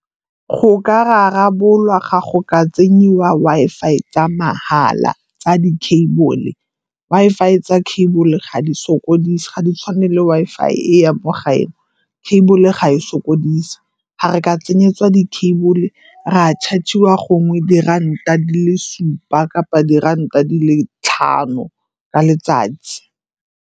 Go ka rarabolwa ga go ka tsenyiwa Wi-Fi tsa mahala tsa di-cable. Wi-Fi tsa cable ga di sokodise, ga di tshwane le Wi-Fi e ya mo gae, cable ga e sokodise. Ga re ka tsenyetsiwa di-cable, ra charge-iwa gongwe diranta di le supa kapa diranta di le tlhano ka letsatsi.